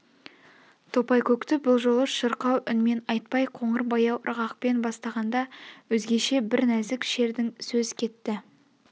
топайкөкті бұл жолы шырқау үнмен айтпай қоңыр баяу ырғақпен бастағанда өзгеше бір нәзік шердің сөз кетті